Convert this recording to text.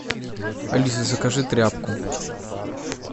алиса закажи тряпку